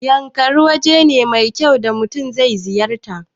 Yankari waje ne mai kyau da mutun zai ziyarta